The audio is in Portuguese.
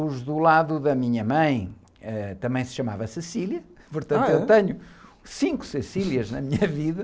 Os do lado da minha mãe, eh, também se chamava .h, é?ortanto eu tenho cinco na minha vida.